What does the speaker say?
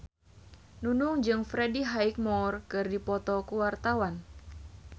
Nunung jeung Freddie Highmore keur dipoto ku wartawan